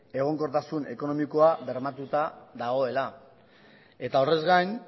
egonkortasun ekonomikoa bermatuta dagoela eta horrez gain